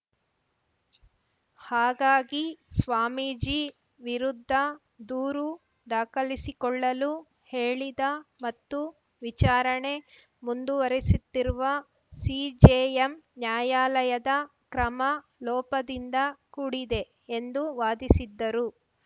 ಹಾಗಾಗಿ ಸ್ವಾಮೀಜಿ ವಿರುದ್ಧ ದೂರು ದಾಖಲಿಸಿಕೊಳ್ಳಲು ಹೇಳಿದ ಮತ್ತು ವಿಚಾರಣೆ ಮುಂದುವರಿಸುತ್ತಿರುವ ಸಿಜೆಎಂ ನ್ಯಾಯಾಲಯದ ಕ್ರಮ ಲೋಪದಿಂದ ಕೂಡಿದೆ ಎಂದು ವಾದಿಸಿದ್ದರು